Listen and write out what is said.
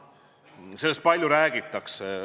Sellest räägitakse palju.